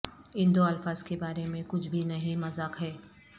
ان دو الفاظ کے بارے میں کچھ بھی نہیں مذاق ہے